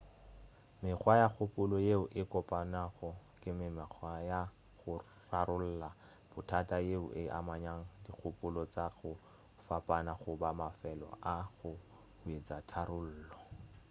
mekgwa ya kgopolo yeo e kopanago ke mekgwa ya go rarolla bothata yeo e amanyago dikgopolo tša go fapana goba mafelo a go hwetša tharollo